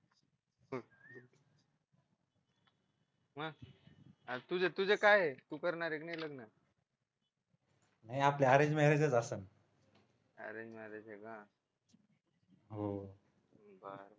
मग तुझं काय आहे तू करणार आहे की नाही लग्न नाही आपले अरेंज मॅरेज असेल अरेंज मॅरेज आहे का हो